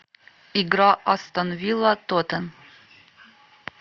игра астон вилла тоттен